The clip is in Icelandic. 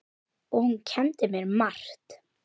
Og hún kenndi mér margt.